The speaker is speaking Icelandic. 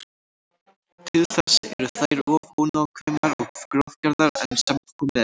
Til þess eru þær of ónákvæmar og grófgerðar enn sem komið er.